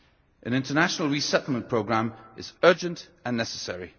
An international resettlement programme is urgent and necessary.